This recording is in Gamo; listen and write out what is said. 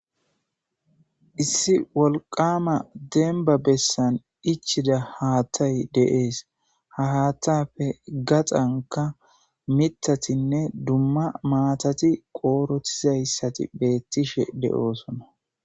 Issi wolqama demba bessan ichida haattay deees, ha hattappe gaxanka mithatinne dumma maatati qoorotizayssati beettishe de7oosona.